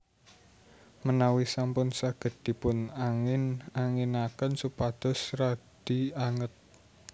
Menawi sampun saged dipun angin anginaken supados radi anget